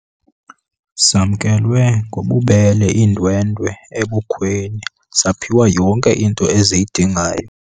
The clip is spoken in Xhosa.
Zamkelwe ngobubele iindwendwe ebukhweni zaphiwa yonke into eziyidingayo.